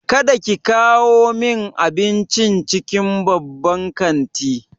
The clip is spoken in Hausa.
Kada ki kawo min abincin cikin babban kanti!